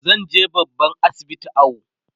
zanje babban asibiti awo